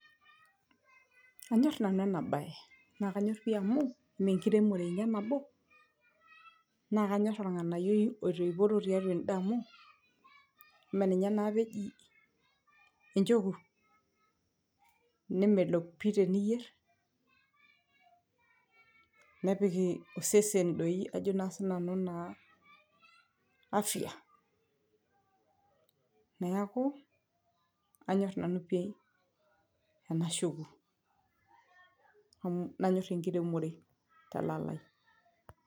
anyorr nanu ena baye naa kanyorr pii amu menkiremore inia nabo naa kanyorr orng'anayioi oitoiporo tiatua ende amu ime ninye naapa eji encheku nemelok pii teniyierr nepik osesen doi ajo naa sinanu naa aafya neeku anyorr nanu oii ena shoku nanyorr enkiremore telalai.